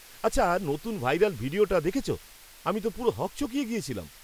আচ্ছা, নতুন ভাইরাল ভিডিওটা দেখেছ? আমি তো পুরো হকচকিয়ে গেছিলাম!